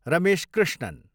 Ramesh Krishnan